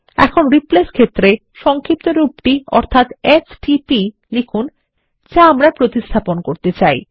এখন রিপ্লেস ক্ষেত্রে সংক্ষিপ্তরূপ টি অর্থাত এসটিপি লিখুন যা আমরা প্রতিস্থাপন করতে চাই